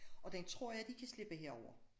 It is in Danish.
Og den tror jeg de kan slippe herovre